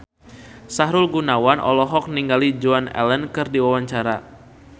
Sahrul Gunawan olohok ningali Joan Allen keur diwawancara